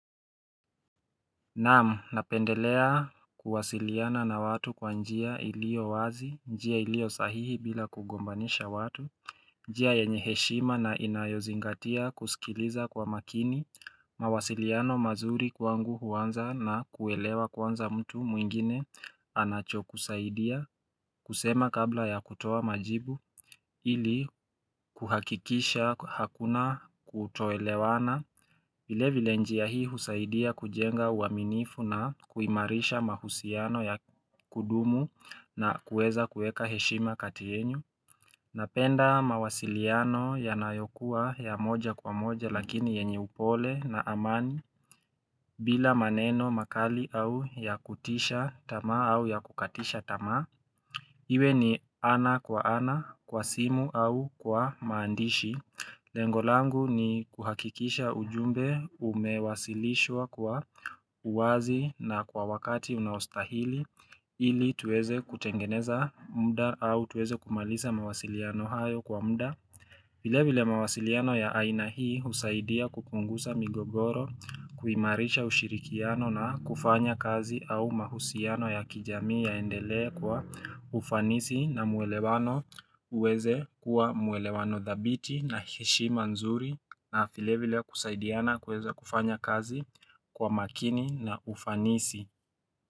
Naam, napendelea kuwasiliana na watu kwa njia ilio wazi, njia ilio sahihi bila kugombanisha watu njia yenyeheshima na inayozingatia kusikiliza kwa makini mawasiliano mazuri kwa ngu huanza na kuelewa kwanza mtu mwingine anacho kusaidia kusema kabla ya kutoa majibu ili kuhakikisha hakuna kutoelewana vile vile njia hii husaidia kujenga uaminifu na kuimarisha mahusiano ya kudumu na kueza kueka heshima kati yenyu. Napenda mawasiliano ya nayokuwa ya moja kwa moja lakini yenye upole na amani bila maneno makali au ya kutisha tamaa au ya kukatisha tamaa. Iwe ni ana kwa ana, kwa simu au kwa maandishi. Lengolangu ni kuhakikisha ujumbe umewasilishwa kwa uwazi na kwa wakati unaostahili ili tuweze kutengeneza mda au tuweze kumaliza mawasiliano hayo kwa mda. Vilevile mawasiliano ya ainahii husaidia kupungusa migogoro kuimarisha ushirikiano na kufanya kazi au mahusiano ya kijamii yaendelee kwa ufanisi na muelewano uweze kuwa muelewano thabiti na heshi manzuri na filevile kusaidiana kweze kufanya kazi kwa makini na ufanisi.